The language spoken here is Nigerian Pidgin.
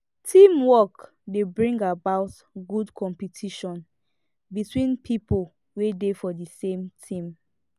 teamwork dey bring about good competition between pipo wey dey for the same team